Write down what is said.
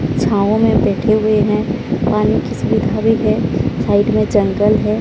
छांव में बैठे हुए हैं पानी की सुविधा भी है साइड में जंगल है।